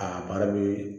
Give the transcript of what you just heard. A baara bɛ